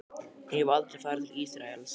En ég hef aldrei farið til Ísraels.